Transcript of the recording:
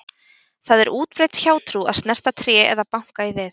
Það er útbreidd hjátrú að snerta tré eða banka í við.